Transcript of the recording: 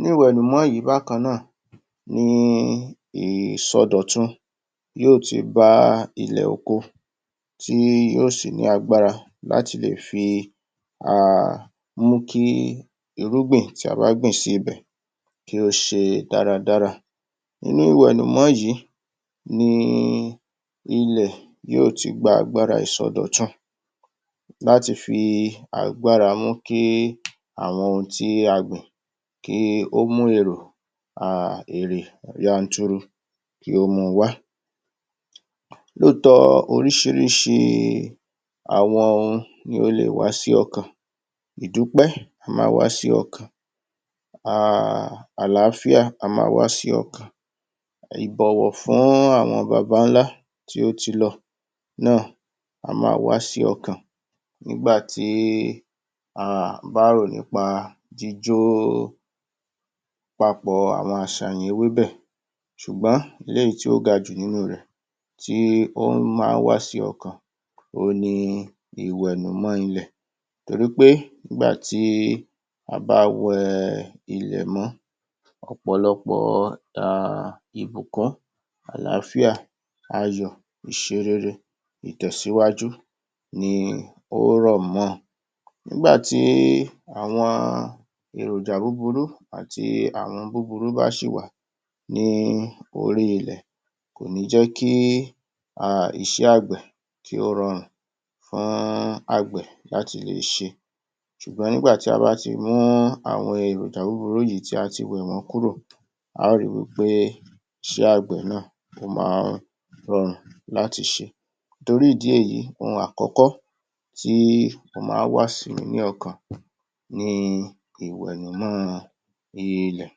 nínú ìwẹ̀nùmọ́ yìí bákan náà ni ìsọdọ̀tun yóò ti bá ilẹ̀ oko tí yóò sì ní agbára láti lè fi um mú kí irúgbìn tí a bá gbìn sí ibẹ̀ kí ó ṣe dáradára Inú ìwẹ̀nùmọ́ yìí, ni ilẹ̀ yóò ti gba agbára ìsọdọ̀tun láti fi agbára mú ki àwọn ohun tí a gbìn kí ó mú èrò um èrè yanturu kí ó máa wa Lóòótọ́ oríṣiríṣi àwọn ohun ní ó lè wá sí ọkàn ìdúpẹ́, a máa wá sí ọkàn um àlááfíà á máa wá sí ọkàn ìbọ̀wọ̀ fún àwọn bàbá-ńlá tí ó ti lọ náà a máa wá sí ọkàn nígbàtí a bá rò nípa jíjó papọ̀ àwọn àṣàyàn ewébẹ̀ eléyìí tí ó gajù nínú rẹ̀ tí ó máa ń wá sí ọkàn ohun ni ìwẹ̀nùmọ́ ilẹ̀ torípé nígbàtí a bá wẹ ilẹ̀ mọ́ ọ̀pọ̀lọpọ̀ ìbùkún, àlááfíà ayọ̀, ìṣerere, ìtẹ̀síwájú ni ó rọ̀ mọ nígbàtí àwọn èròjà búburú àti àwọn búburú bá ṣì wà, ní orí ilẹ̀ kò ní jẹ́ kí um iṣẹ́ àgbẹ̀ kí ó rọrùn fún àgbẹ̀ láti lè ṣe ṣùgbọ́n nígbàtí a bá ti mú àwọn èròjà búburú yìí tí a ti wẹ̀ wọ́n kúrò, a ó ri wí pé iṣẹ́ àgbè náà, ó máa ń rọrùn láti ṣe torí ìdí èyí, ohun àkọ́kọ́ tí o máa ń wá sí mi ní ọkàn, ni ìwẹ̀nùmọ́ ilẹ̀.